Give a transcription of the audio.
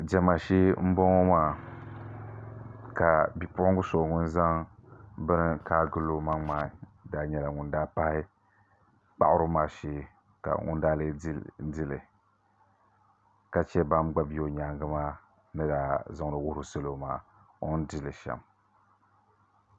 Diɛma shee n boŋo maa ka bipuɣunbili ŋun zaŋ bini kaai vuli o maŋ maa daa nyɛla ŋun daa pahi kpaɣaribu maa shee ka ŋun daa lee dili ka chɛ ban gba bɛ o nyaangi maa ni daa zaŋdo wuhuri salo maa o ni dili shɛm